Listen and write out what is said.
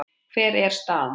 Hver er staðan?